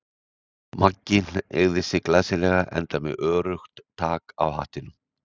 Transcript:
Maggi hneigði sig glæsilega, enda með öruggt tak á hattinum.